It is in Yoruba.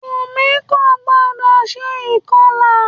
Wùmí kò gbodò se ìkọlà